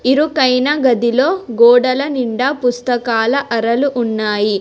ఇరుకైన గదిలో గోడల నిండా పుస్తకాల అరలు ఉన్నాయి.